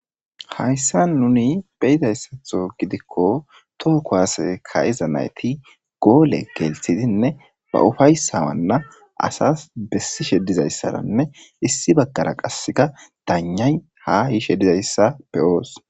Hayssa nuni beyidayssatho gidikko too kowaase ka'iza nayti goole gelthidinne ba ufayssawanna asas bessi shedizayssaranne issi baggara qasseka danay ha yiishe dizayssapbe oos